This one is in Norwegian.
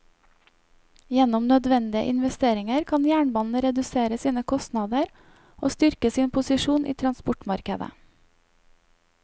Gjennom nødvendige investeringer kan jernbanen redusere sine kostnader og styrke sin posisjon i transportmarkedet.